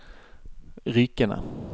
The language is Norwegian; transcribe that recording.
Rykene